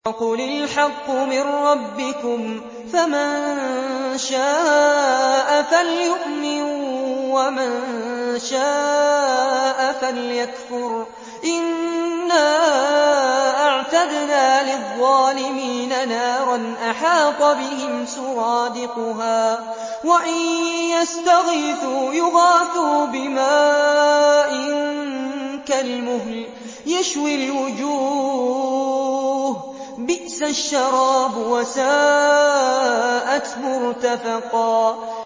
وَقُلِ الْحَقُّ مِن رَّبِّكُمْ ۖ فَمَن شَاءَ فَلْيُؤْمِن وَمَن شَاءَ فَلْيَكْفُرْ ۚ إِنَّا أَعْتَدْنَا لِلظَّالِمِينَ نَارًا أَحَاطَ بِهِمْ سُرَادِقُهَا ۚ وَإِن يَسْتَغِيثُوا يُغَاثُوا بِمَاءٍ كَالْمُهْلِ يَشْوِي الْوُجُوهَ ۚ بِئْسَ الشَّرَابُ وَسَاءَتْ مُرْتَفَقًا